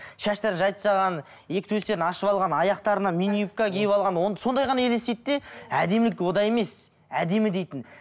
шаштарын жайып тастаған екі төстерін ашып алған аяқтарына мини юбка киіп алған сондай ғана елестейді де әдемілік онда емес әдемі дейтін